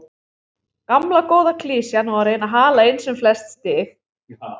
Gamla góða klisjan og að reyna að hala inn sem flest stig.